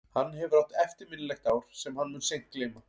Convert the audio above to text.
Hann hefur átt eftirminnilegt ár sem hann mun seint gleyma.